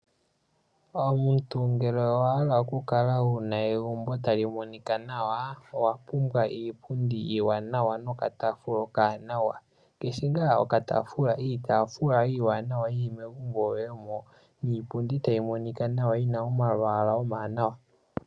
Omuntu ngele owa hala okukala wu na egumbo tali monika nawa, owa pumbwa iipundi nokataafula okawanawa. Iitaafula iiwanawa yi li megumbo lyoye moka niipundi tayi monika nawa yi na omalwaala omawanawa.